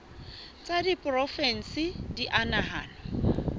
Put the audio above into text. tsa diporofensi di a nahanwa